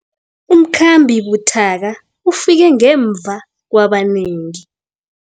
Umkhambi buthaka ufike ngemva kwabanengi.